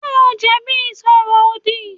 Ṣé o jẹ̀bi ìsọ̀rọ̀-òdì?